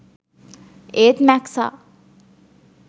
ඒත් මැක්සා